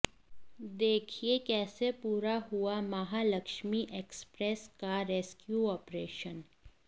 देखिए कैसे पूरा हुआ महालक्ष्मी एक्सप्रेस का रेस्क्यू ऑपरेशन